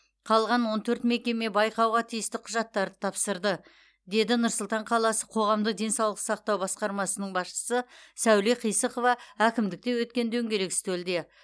қалған он төрт мекеме байқауға тиісті құжаттарын тапсырды деді нұр сұлтан қаласы қоғамдық денсаулық сақтау басқармасының басшысы сәуле қисықова әкімдікте өткен дөңгелек үстелде